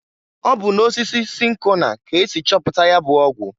Ọ bụ na osisi sinkona k'esi chọpụta ya bụ ọgwụ.